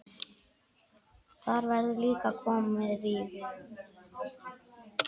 Þar verður komið víða við.